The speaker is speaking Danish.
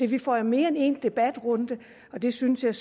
vi får jo mere end en debatrunde og det synes jeg